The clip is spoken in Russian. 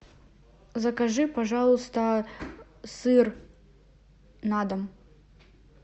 закажи пожалуйста сыр на дом